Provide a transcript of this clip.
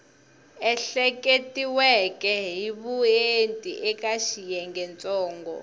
ehleketiweke hi vuenti eka xiyengentsongo